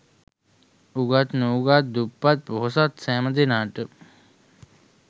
උගත් නූගත්, දුප්පත් පොහොසත් සෑම දෙනාට ම